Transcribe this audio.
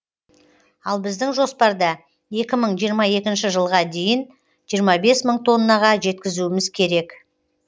ал біздің жоспарда екі мың жиырма екінші жылға дейін жиырма бес мың тоннаға жеткізуіміз керек